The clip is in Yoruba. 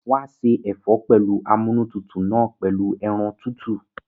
Wàá ṣe ẹ̀fọ́ amúnútutù náà pẹ̀lú ẹran tútù